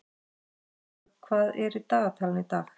Freylaug, hvað er í dagatalinu í dag?